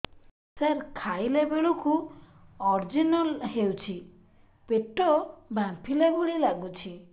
ସାର ଖାଇଲା ବେଳକୁ ଅଜିର୍ଣ ହେଉଛି ପେଟ ଫାମ୍ପିଲା ଭଳି ଲଗୁଛି